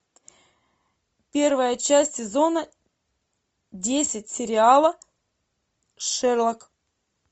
первая часть сезона десять сериала шерлок